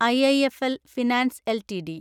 IIFL finance LTD